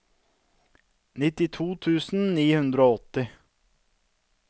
nittito tusen ni hundre og åtti